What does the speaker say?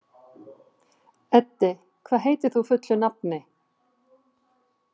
Eddi, hvað heitir þú fullu nafni?